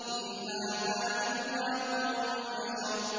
إِنْ هَٰذَا إِلَّا قَوْلُ الْبَشَرِ